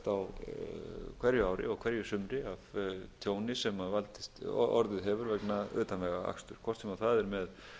á hverju ári og hverju sumri af tjóni sem orðið hefur vegna utanvegaakstri hvort sem það er með